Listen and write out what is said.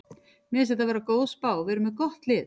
Mér finnst þetta vera góð spá, við erum með gott lið.